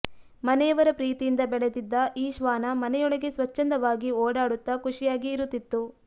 ಮನೆಯವರ ಪ್ರೀತಿಯಿಂದ ಬೆಳೆದಿದ್ದ ಆ ಶ್ವಾನ ಮನೆಯೊಳಗೆ ಸ್ವಚ್ಛಂದವಾಗಿ ಓಡಾಡುತ್ತಾ ಖುಷಿಯಾಗಿ ಇರುತ್ತಿತ್ತು